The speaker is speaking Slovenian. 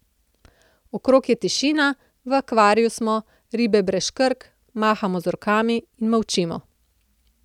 Okrog je tišina, v akvariju smo, ribe brez škrg, mahamo z rokami in molčimo.